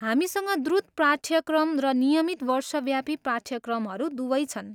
हामीसँग द्रुत पाठ्यक्रम र नियमित वर्षव्यापी पाठ्यक्रमहरू दुवै छन्।